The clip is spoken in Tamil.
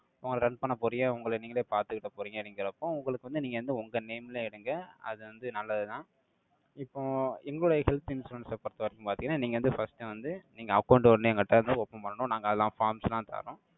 உங்களை run பண்ண போறீக. உங்களை நீங்களே பார்த்துக்கிட போறீங்க. நீங்களுக்கும் உங்களுக்கு வந்து, நீங்க வந்து, உங்க name ல எடுங்க. அது வந்து நல்லதுதான். இப்போ, எங்களுடைய health insurance அ பொறுத்தவரைக்கும் பார்த்தீங்கன்னா, நீங்க வந்து first வந்து, நீங்க account ஒண்ணு, எங்க கிட்ட இருந்து open பண்ணணும். நாங்க அதெல்லாம் forms லாம் தறோம்.